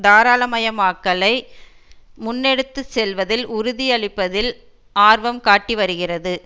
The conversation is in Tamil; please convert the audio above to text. தாராளமயமாக்கலை முன்னெடுத்துச்செல்வதில் உறுதியளிப்பதில் ஆர்வம் காட்டிவருகிறது